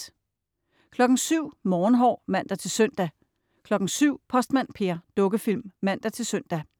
07.00 Morgenhår (man-søn) 07.00 Postmand Per. Dukkefilm (man-søn)